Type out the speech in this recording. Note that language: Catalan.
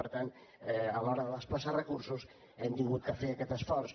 per tant a l’hora de desplaçar recursos hem hagut de fer aquest esforç